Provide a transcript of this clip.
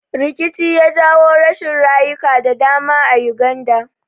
Rikici ya jawo rashin rayuka da dama Uganda